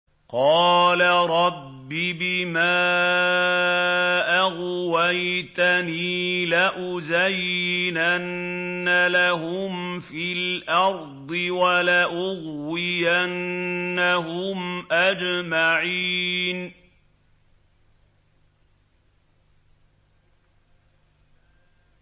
قَالَ رَبِّ بِمَا أَغْوَيْتَنِي لَأُزَيِّنَنَّ لَهُمْ فِي الْأَرْضِ وَلَأُغْوِيَنَّهُمْ أَجْمَعِينَ